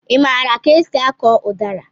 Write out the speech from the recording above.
I maara ka esị akọ udara?